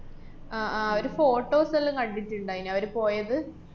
അഹ് ആഹ് അവരെ photos എല്ലാം കണ്ടിട്ട്ണ്ടേയ്നു അവര് പോയത്.